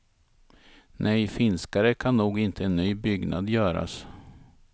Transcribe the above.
Nej, finskare kan nog inte en ny byggnad göras.